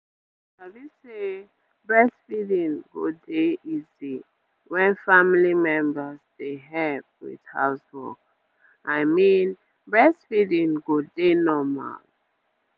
you sabi say breastfeeding go dey easy wen family members dey help with house work i mean breastfeeding go dey normal